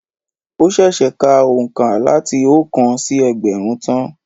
Ó sèsè ka òǹkà láti oókan sí ẹgbẹ̀rún tán